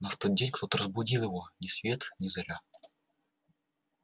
но в тот день кто-то разбудил его ни свет ни заря